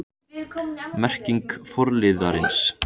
Merking forliðarins